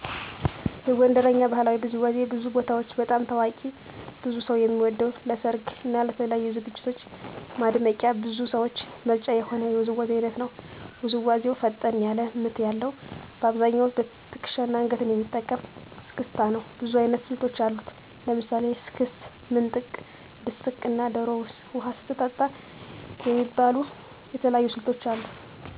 የጎንደርኛ ባህላዊ ውዝዋዜ በብዙ ቦታዎች በጣም ታዋቂ ብዙ ሰው የሚወደው ለሰርግ እና ለተለያዩ ዝግጅቶች ማድመቂያ የብዙ ሰዎች ምርጫ የሆነ የውዝዋዜ አይነት ነው። ውዝዋዜው ፈጠን ያለ ምት ያለዉ : በአብዛኛው ትክሻና አንገትን የሚጠቀም እስክስታ ነው። ብዙ አይነት ስልቶች አሉት። ለምሳሌ ስክስክ፣ ምንጥቅ፣ ድስቅ እና ዶሮ ውሃ ስትጠጣ የሚባሉ የተለያዩ ስልቶች አሉት።